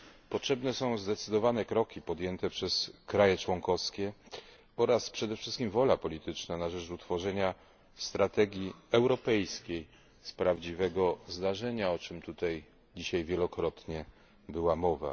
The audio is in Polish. Potrzebne są zdecydowane kroki podjęte przez kraje członkowskie oraz przede wszystkim wola polityczna na rzecz utworzenia prawdziwej strategii europejskiej, o czym tutaj dzisiaj wielokrotnie była mowa.